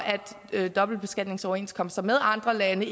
at dobbeltbeskatningsoverenskomster med andre lande